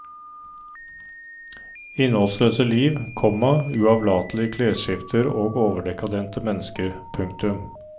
Innholdsløse liv, komma uavlatelige klesskifter og overdekadente mennesker. punktum